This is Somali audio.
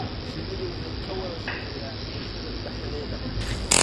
Shinnidu waxay ka wada shaqeeyaan bulshada dhexdeeda.